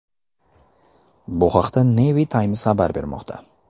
Bu haqda Navy Times xabar bermoqda .